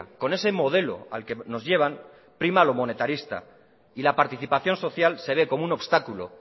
con ese modelo al que nos llevan prima lo monetarista y la participación social se ve como un obstáculo